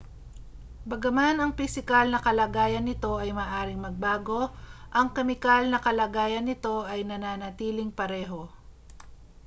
bagaman ang pisikal na kalagayan nito ay maaaring magbago ang kemikal na kalagayan nito ay nananatiling pareho